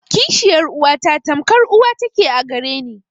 Kishiyar uwata tamkar uwa ta ke a gare ni.